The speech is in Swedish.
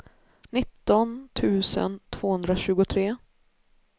nitton tusen tvåhundratjugotre